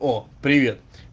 о привет